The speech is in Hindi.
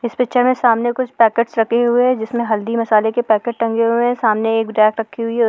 इस पिक्चर में सामने कुछ पेकेट्स रखे हुए हैं जिसमें हल्दी मसाले के पेकेट्स टंगे हुए हैं सामने एक रैक रखी हुई है।